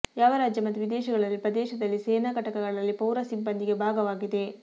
ಯಾವ ರಾಜ್ಯ ಮತ್ತು ವಿದೇಶಗಳಲ್ಲಿ ಪ್ರದೇಶದಲ್ಲಿ ಸೇನಾ ಘಟಕಗಳಲ್ಲಿ ಪೌರ ಸಿಬ್ಬಂದಿಗೆ ಭಾಗವಾಗಿದೆ